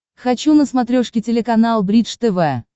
хочу на смотрешке телеканал бридж тв